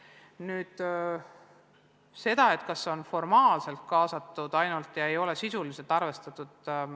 Nüüd sellest, kas kaasatud on ainult formaalselt ja sisuliselt pole ettepanekuid arvestatud.